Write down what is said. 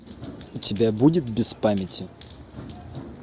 у тебя будет без памяти